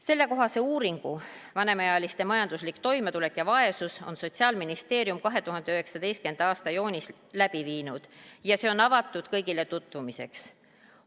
Sellekohase uuringu "Vanemaealiste majanduslik toimetulek ja vaesus" viis Sotsiaalministeerium läbi 2019. aasta juunis ja see on kõigile tutvumiseks avatud.